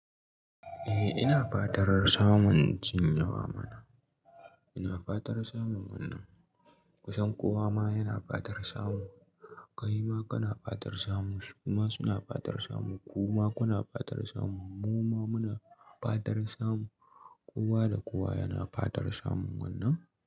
Eh ina fatar samun jin yawa mana. Ina fatar samun wannan. Kusan kowa ma yana fatar samu. Kai ma kana fatar samu, su ma suna fatar samu, ku ma kuna fatar samu, mu ma muna fatar samu. Kowa da kowa yana fatar samun wannan.